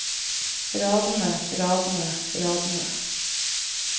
radene radene radene